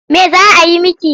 Me za a yi miki?